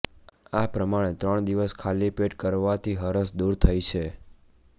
આ પ્રમાણે ત્રણ દિવસ ખાલી પેટ કરવાથી હરસ દૂર થઈ છે